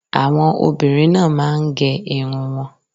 Àwọn obìnrin náà máa ń gẹ irun wọn.